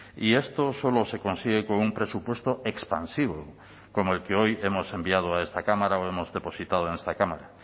y esto solo se consigue con un presupuesto expansivo como el que hoy hemos enviado a esta cámara o hemos depositado en esta cámara